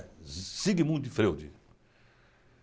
É, Sigmund de Freude.